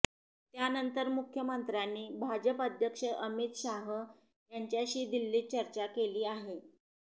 त्यानंतर मुख्यमंत्र्यांनी भाजप अध्यक्ष अमित शाह यांच्याशी दिल्लीत चर्चा केली आहे